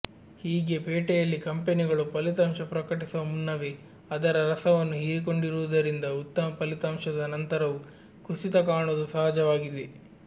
ಹೀಗೆ ಪೇಟೆಯಲ್ಲಿ ಕಂಪೆನಿಗಳು ಫಲಿತಾಂಶ ಪ್ರಕಟಿಸುವ ಮುನ್ನವೇ ಅದರ ರಸವನ್ನು ಹೀರಿಕೊಂಡಿರುವುದರಿಂದ ಉತ್ತಮ ಫಲಿತಾಂಶದ ನಂತರವೂ ಕುಸಿತ ಕಾಣುವುದು ಸಹಜವಾಗಿದೆ